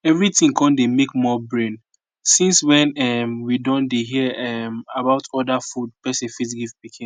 everything con dey make more brain since when um we don dey hear um about other food person fit give pikin